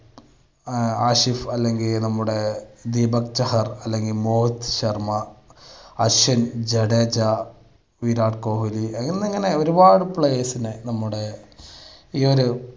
ആഷിഫ് അല്ലെങ്കിൽ നമ്മുടെ ദീപക്ക് ചഹാർ അല്ലെങ്കിൽ മോഹിത്ത് ശർമ്മ, അശ്വിൻ, ജഡേജ, വിരാട് കോഹ്ലി എന്നിങ്ങനെ ഒരുപാട് players നെ നമ്മുടെ ഈയൊരു